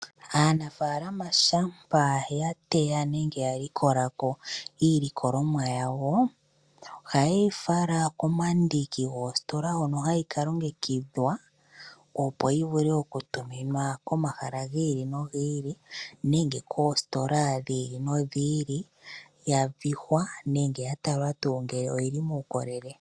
Aanafaalama shampa ya tseya nengebya likola ko iilikolomwa yawo, ohaye yi fala komandiki goositola hono hayi ka longekidhwa opo yi vule oku tuminwa komahala gi ili nogi ili nenge koositola dhi ili nodhi ili ya vihwa nenge ya talwa tuu ngele oyili muukolele.